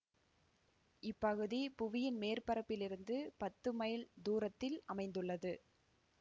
இப்பகுதி புவியின் மேற்பரப்பில் இருந்து பத்து மைல் தூரத்தில் அமைந்துள்ளது